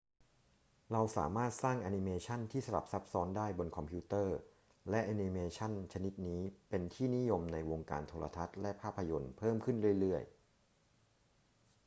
้เราสามารถสร้างแอนิเมชันที่สลับซับซ้อนได้บนคอมพิวเตอร์ และแอนิเมชันชนิดนี้เป็นที่นิยมในวงการโทรทัศน์และภาพยนตร์เพิ่มขึ้นเรื่อย ๆ